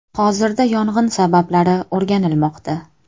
Hozirda yong‘in sabablari o‘rganilmoqda.